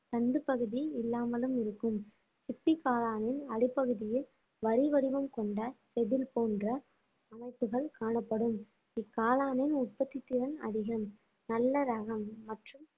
தண்டுப்பகுதி இல்லாமலும் இருக்கும் சிப்பி காளானின் அடிப்பகுதியில் வரி வடிவம் கொண்ட செதில் போன்ற அமைப்புகள் காணப்படும் இக்காளானின் உற்பத்தி திறன் அதிகம் நல்ல ரகம் மற்றும்